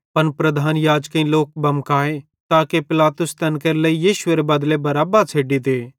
पन प्रधान याजकेईं लोक बमकाए ताके पिलातुस तैन केरे लेइ यीशुएरे बदले बरअब्बा छ़ेड्डी दे